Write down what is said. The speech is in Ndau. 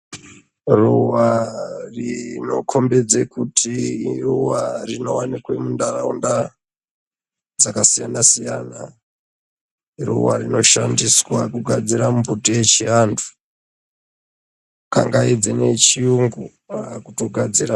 Ruwa rinokhombidze kuti iruwa rinowanikwe munharaunda dzakasiyana siyana. Ruwa rinoshandiswa kugadzira mbubuti yechiantu kangaidzei nechiyungu raakutogadzirawo.